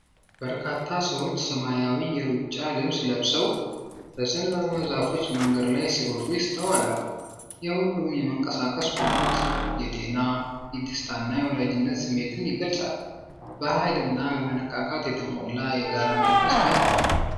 በርካታ ሰዎች ሰማያዊ የሩጫ ልብስ ለብሰው በዘንባባ ዛፎች መንገድ ላይ ሲሮጡ ይስተዋላል። የሁሉም የመንቀሳቀስ ጉጉት የጤና፣ የደስታና የወዳጅነት ስሜትን ይገልጻል፤ በኃይልና በመነቃቃት የተሞላ የጋራ መንፈስ ታይቷል።